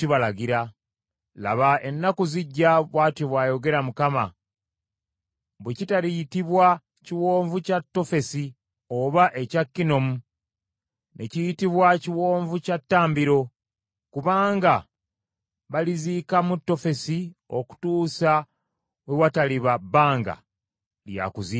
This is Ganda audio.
Laba, ennaku zijja,” bw’atyo bw’ayogera Mukama , bwe kitariyitibwa Kiwonvu kya Tofesi oba ekya Kinnomu ne kiyitibwa Kiwonvu kya ttambiro: kubanga baliziikamu Tofesi okutuusa we wataliba bbanga lya kuziikamu.